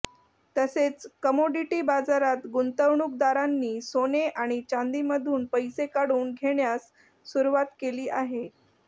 तसेच कमॉडिटी बाजारात गुंतवणूकदारांनी सोने आणि चांदीमधून पैसे काढून घेण्यास सुरुवात केली आहे